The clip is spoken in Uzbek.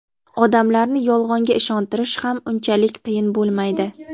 odamlarni Yolg‘onga ishontirish ham unchalik qiyin bo‘lmaydi.